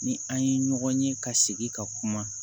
Ni an ye ɲɔgɔn ye ka sigi ka kuma